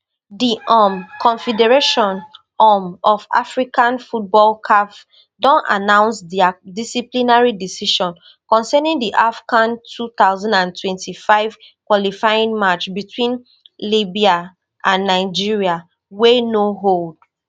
di um confederation um of african football caf don announce dia disciplinary decision concerning di afcon two thousand and twenty-five qualifying match between libya and nigeria wey no hold